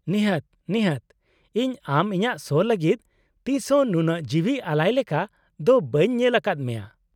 -ᱱᱤᱦᱟᱹᱛ , ᱱᱤᱦᱟᱹᱛ , ᱤᱧ ᱟᱢ ᱤᱧᱟᱹᱜ ᱥᱳ ᱞᱟᱜᱤᱫ ᱛᱤᱥ ᱦᱚᱸ ᱱᱩᱱᱟᱹᱜ ᱡᱤᱣᱤ ᱟᱞᱟᱭ ᱞᱮᱠᱟ ᱫᱚ ᱵᱟᱹᱧ ᱧᱮᱞ ᱟᱠᱟᱫ ᱢᱮᱭᱟ ᱾